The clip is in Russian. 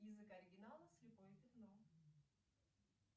язык оригинала слепое пятно